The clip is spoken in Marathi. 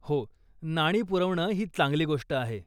हो, नाणी पुरवणं ही चांगली गोष्ट आहे.